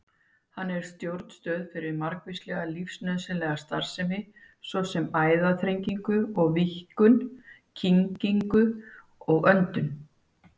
Hann er stjórnstöð fyrir margvíslega lífsnauðsynlega starfsemi, svo sem æðaþrengingu og-víkkun, kyngingu og öndun.